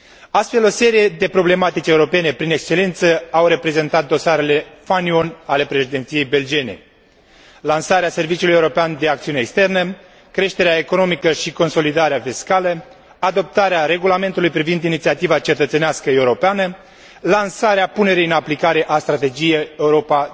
Astfel, o serie de problematici europene prin excelență au reprezentat dosarele fanion ale Președinției belgiene lansarea Serviciului European de Acțiune Externă, creșterea economică și consolidarea fiscală, adoptarea regulamentului privind inițiativa cetățenească europeană, lansarea punerii în aplicare a strategiei Europa